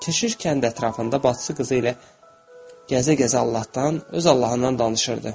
Keşiş kənd ətrafında bacısı qızı ilə gəzə-gəzə Allahdan, öz Allahından danışırdı.